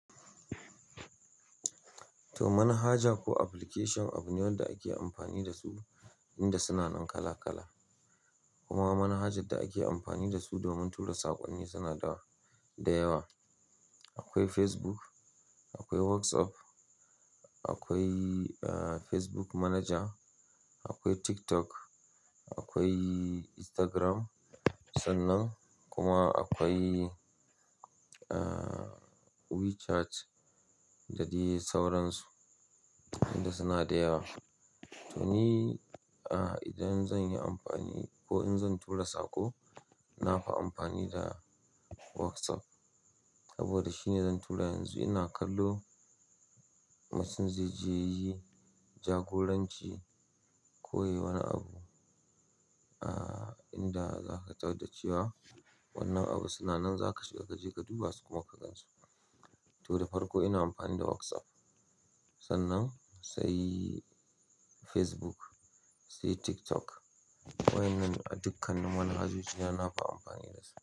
To, manhaja ko application abune wanda ake amfani da su, inda suna kala-kala. Kuma manhajar da ake amfani da su domin tura saƙonni suna da yawa. Akwai Facebook, akwai WhatsApp, akwai, Facebook Manager, akwai TikTok, akwai Instagram, sannan kuma akwai WeChat da dai sauransu, inda suna da yawa. To ni, idan zan yi amfani ko in zan tura sako, na fi amfani da WhatsApp. Saboda shine zan tura yanzu ina kallo mutum zai je ya yi jagoranci. Ko yayi wani abu, inda za ka tarda cewa wannan abu suna nan, za ka shiga ka je ka duba su kuma ka gansu. To, da farko ina amfani da WhatsApp. Sannan sai Facebook, sai TikTok. Wa'yennan a dukkanin manhajoji, yana nafi amfani da su.